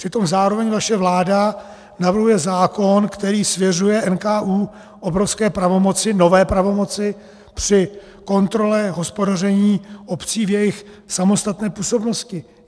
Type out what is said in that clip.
Přitom zároveň vaše vláda navrhuje zákon, který svěřuje NKÚ obrovské pravomoci, nové pravomoci, při kontrole hospodaření obcí v jejich samostatné působnosti.